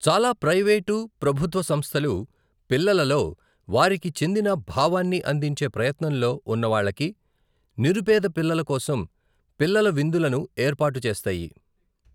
చాలా ప్రైవేటు, ప్రభుత్వ సంస్థలు పిల్లలలో వారికి చెందిన భావాన్ని అందించే ప్రయత్నంలో ఉన్నవాళ్ళకి, నిరుపేద పిల్లల కోసం పిల్లల విందులను ఏర్పాటు చేస్తాయి.